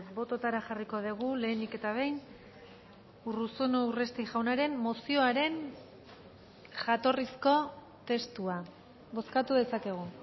bototara jarriko dugu lehenik eta behin urruzuno urresti jaunaren mozioaren jatorrizko testua bozkatu dezakegu